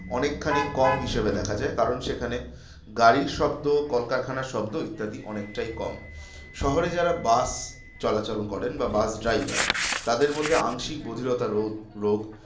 অনেকখানি কম হিসেবে দেখা যায়। কারণ সেখানে গাড়ির শব্দ কলকারখানার শব্দ ইত্যাদি অনেকটাই কম শহরে যারা বাস চলাচল করেন বা বাস driver তাদের মধ্যে আংশিক বধিরতা রোধ রোগ